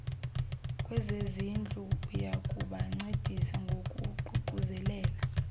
kwezezindlu oyakubancedisa ngokuququzelela